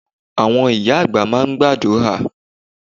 Àwọn ìyá àgbà máa ń gbàdúrà.